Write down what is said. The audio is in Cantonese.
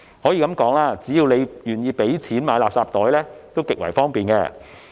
可以說，只要大家願意付費購買垃圾袋，也極為方便。